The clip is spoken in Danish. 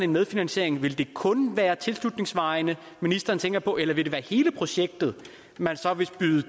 medfinansiering vil det kun være tilslutningsvejene ministeren tænker på eller vil det være hele projektet man så vil skyde